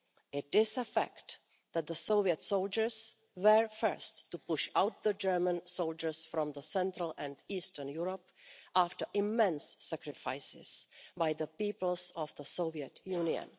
It is a fact that Soviet soldiers were first to push out the German soldiers from Central and Eastern Europe after immense sacrifices by the peoples of the Soviet Union.